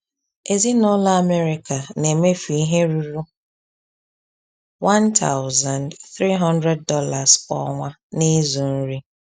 Ezinụlọ Amerịka na-emefu ihe ruru $1,300 kwa ọnwa n’ịzụ nri.